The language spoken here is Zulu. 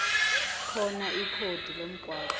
khona ikhodi lomgwaqo